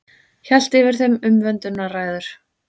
Hélt yfir þeim umvöndunarræður.